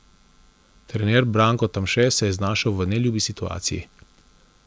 Trener Branko Tamše se je znašel v neljubi situaciji.